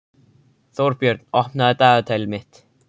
Þórbjörn, opnaðu dagatalið mitt.